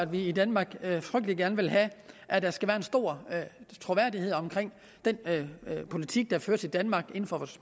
vi i danmark frygtelig gerne vil have at der skal være en stor troværdighed omkring den politik der føres i danmark inden for